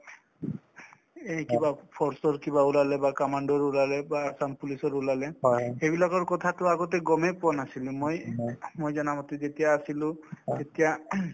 এই কিবা force ৰ কিবা ওলালে বা commando ৰ ওলালে বা assam police ৰ ওলালে সেইবিলাকৰ কথাটো আগতে গমে পোৱা নাছিলে মই মই জানামতে যেতিয়া আছিলো তেতিয়া